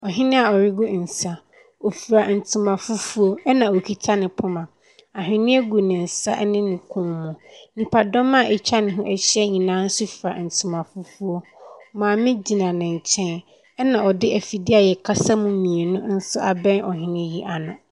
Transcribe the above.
Ɔhene a ɔregu nsa. Ɔfirantoma fufuo, ɛna ɔkita ne poma. Ahweneɛ gu ne nsa ne ne kɔn mu. Nipadɔm a wɔatwa ne ho ahyia nyinaa nso kura ntima fufuo. Maame gyina ne nkyɛn. Ɛna ɔde afidie a wɔkasa mu mmienu nso abɛn ɔhene yi ano.